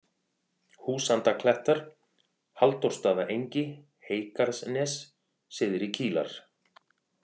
Húsandaklettar, Halldórsstaðaengi, Heygarðsnes, Syðri-Kílar